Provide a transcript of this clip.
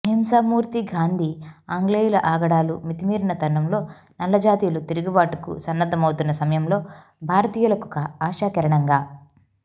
అహింసామూర్తి గాంధీ ఆంగ్లేయుల ఆగడాలు మితిమీరిన తరుణంలో నల్లజాతీయులు తిరుగుబాటు కు సన్నద్ధమౌతున్న సమయంలో భారతీయులకొక ఆశా కిరణంగా